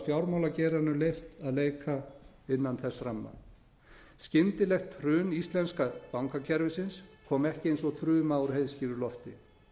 fjármálageiranum leyft að leika innan þess ramma skyndilegt hrun íslenska bankakerfisins kom ekki eins og þruma úr heiðskíru lofti